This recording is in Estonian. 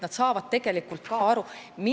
Nad peavad sellest ka tegelikult aru saama.